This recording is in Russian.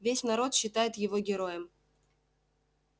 весь народ считает его героем